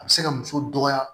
A bɛ se ka muso dɔgɔya